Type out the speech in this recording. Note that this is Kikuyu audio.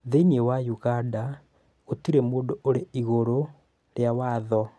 Thĩinĩ wa Uganda gũtirĩ mũndũ ũrĩ igũrũ rĩa watho.